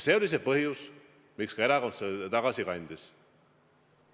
See oli see põhjus, miks erakond selle tagasi kandis.